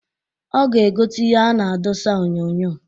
Ọ ga-egota ihe a na-adosa onyoonyoo.